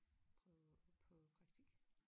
På på praktik